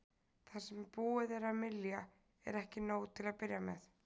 Það sem búið er að mylja er ekki nóg til að byrja með.